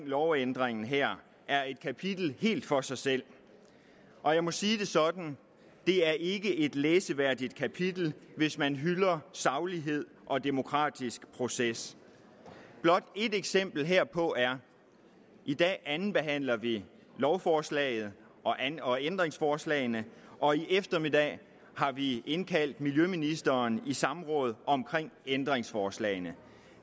lovændringen her er et kapitel helt for sig selv og jeg må sige det sådan det er ikke et læseværdigt kapitel hvis man hylder saglighed og demokratisk proces blot et eksempel herpå er i dag andenbehandler vi lovforslaget og ændringsforslagene og i eftermiddag har vi indkaldt miljøministeren i samråd om ændringsforslagene